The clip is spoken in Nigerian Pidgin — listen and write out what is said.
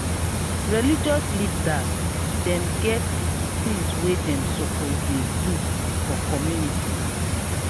religious leaders dem get di tins wey dem suppose dey do for community.